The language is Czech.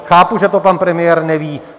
Chápu, že to pan premiér neví.